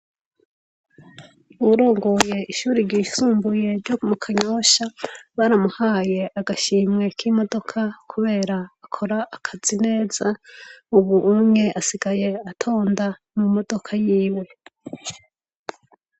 Uwurongoye ishure ryisumbuye ryo mu kanyosha baramuhaye agashimwe k' imodoka kubera akora akazi neza ubu asigaye atonda mumodoka yiwe.